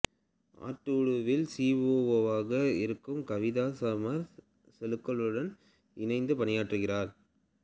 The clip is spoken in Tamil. ஆர்டூவில் சி ஓ ஓவாக இருக்கும் கவிதா சமீர் செகலுடன் இணைந்து பணியாற்றுகிறார்